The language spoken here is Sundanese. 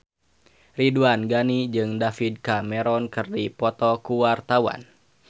Ridwan Ghani jeung David Cameron keur dipoto ku wartawan